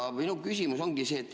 Minu küsimus ongi see.